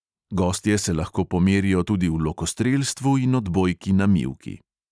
Gostje se lahko pomerijo tudi v lokostrelstvu in odbojki na mivki.